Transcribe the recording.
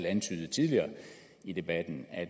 antydede tidligere i debatten at